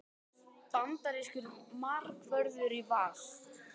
Bandarískur markvörður í Val